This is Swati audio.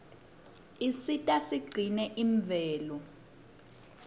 isisita sigcine imvelo